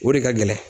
O de ka gɛlɛn